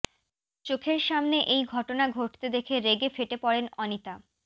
চোখের সামনে এই ঘটনা ঘটতে দেখে রেগে ফেটে পড়েন অনিতা